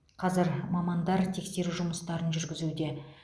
қазір мамандар тексеру жұмыстарын жүргізуде